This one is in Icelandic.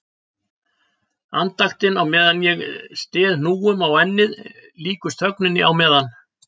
Andaktin á meðan ég styð hnúum á ennið líkust þögninni á meðan